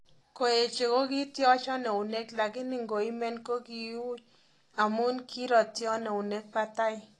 Koeche kokityochon eunek lakini ngoimen kokiuu amun kiroyton eunek batai